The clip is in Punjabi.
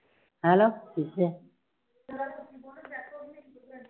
hello